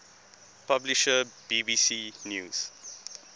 publisher bbc news